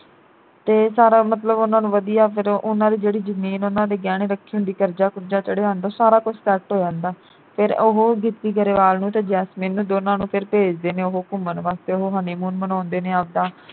ਤੇ ਸਾਰਾ ਮਤਲਬ ਉਨ੍ਹਾਂ ਨੂੰ ਵਧੀਆ ਫਿਰ ਉਨ੍ਹਾਂ ਦੀ ਜਿਹੜੀ ਜਮੀਨ ਉਨ੍ਹਾਂ ਨੇ ਗਹਿਣੇ ਰੱਖੀ ਹੁੰਦੀ ਕਰਜਾ ਕੁਰਜਾ ਚੜਿਆ ਹੁੰਦਾ ਸਾਰਾ ਕੁਝ set ਹੋ ਜਾਂਦਾ। ਫਿਰ ਉਹ ਗਿੱਪੀ ਗਰੇਵਾਲ ਨੂੰ ਤੇ ਜੈਸਮੀਨ ਨੂੰ ਦੋਹਾਂ ਨੂੰ ਫਿਰ ਭੇਜਦੇ ਨੇ ਉਹ ਘੁੰਮਣ ਵਾਸਤੇ ਉਹ honeymoon ਮਨਾਉਂਦੇ ਨੇ ਆਪਦਾ